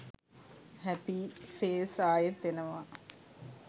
හැපි face ආයෙත් එනවා